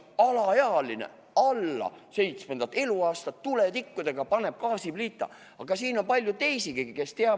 "Alaealine, alla seitsmendat eluaastat, ja tuletikkudega paneb gaasipliidi tule põlema!?